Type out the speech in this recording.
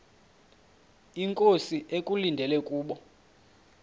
inkosi ekulindele kubo